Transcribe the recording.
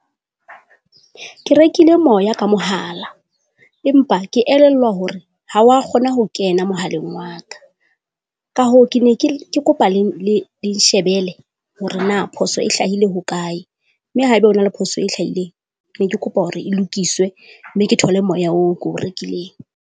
Ke rekile moya ka mohala empa ke elellwa hore ha wa kgona ho kena mohaleng wa ka. Ka hoo, ke ne ke ke kopa le le nshebele hore na phoso e hlahile hokae, mme haeba hona le phoso e hlahileng. Ne ke kopa hore e lokiswe mme ke thole moya oo ko o rekileng.